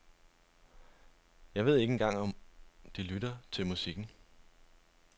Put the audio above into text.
Jeg ved ikke engang om de lytter til musikken.